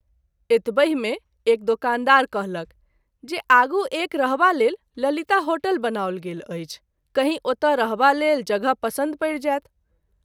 एतबहि मे एक दुकानदार कहलक जे आगू एक रहबा लेल ललिता होटल बनाओल गेल अछि , कहीं ओतए रहबा लेल जगह पसन्द परि जायत।